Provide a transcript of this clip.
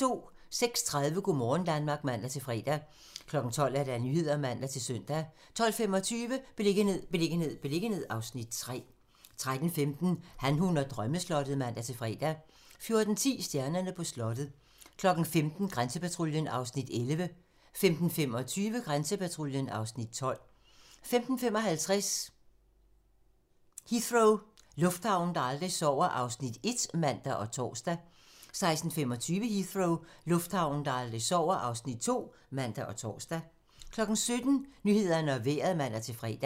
06:30: Go' morgen Danmark (man-fre) 12:00: Nyhederne (man-søn) 12:25: Beliggenhed, beliggenhed, beliggenhed (Afs. 3) 13:15: Han, hun og drømmeslottet (man-fre) 14:10: Stjernerne på slottet 15:00: Grænsepatruljen (Afs. 11) 15:25: Grænsepatruljen (Afs. 12) 15:55: Heathrow - lufthavnen, der aldrig sover (Afs. 1)(man og tor) 16:25: Heathrow - lufthavnen, der aldrig sover (Afs. 2)(man og tor) 17:00: Nyhederne og Vejret (man-fre)